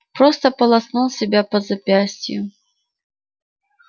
просто полоснул себя по запястью